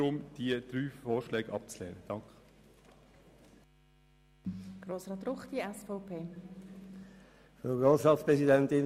Aufgrund dieser Darstellungen der Situation bei der Polizei können Sie dann mittels Planungserklärungen bestimmen, wie der Bestand aussehen soll.